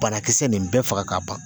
Banakisɛ nin bɛɛ faga ka ban